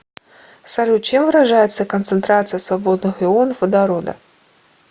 салют чем выражается концентрация свободных ионов водорода